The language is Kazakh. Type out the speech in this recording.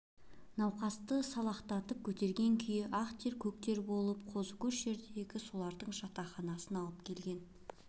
науқасты салақтатып көтерген күй ақ тер көк тер болып қозы көш жердегі солардың жатақханасына алып келген